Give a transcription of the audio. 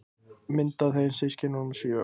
Mynd af þeim systkinunum sjö.